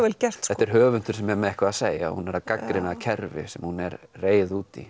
vel gert þetta er höfundur sem hefur eitthvað að segja hún er að gagnrýna kerfi sem hún er reið út í